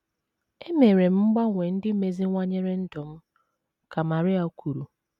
“ Emere m mgbanwe ndị meziwanyere ndụ m, ” ka Maria kwuru.